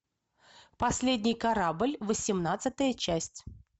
последний корабль восемнадцатая часть